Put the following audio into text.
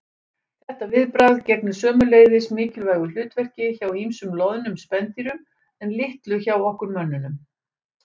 Þetta viðbragð gegnir sömuleiðis mikilvægu hlutverki hjá ýmsum loðnum spendýrum en litlu hjá okkur mönnunum.